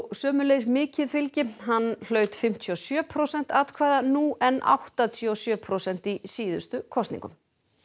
sömuleiðis mikið fylgi hann hlaut fimmtíu og sjö prósent atkvæða nú en áttatíu og sjö prósent í síðustu kosningum